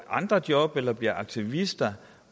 andre job eller bliver aktivister